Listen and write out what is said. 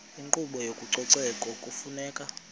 inkqubo yezococeko kufuneka